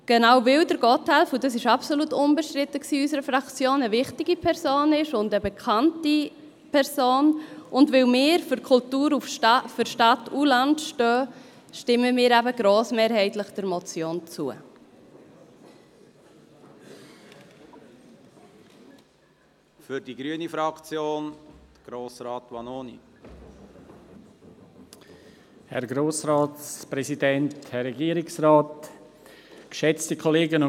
Weil Gotthelf – und das war absolut unbestritten in unserer Fraktion – eine wichtige und bekannte Person ist, und weil wir für Kultur für Stadt und Land stehen, stimmen wir der Motion grossmehrheitlich zu.